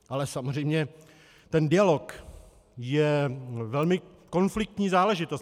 Ale samozřejmě ten dialog je velmi konfliktní záležitost.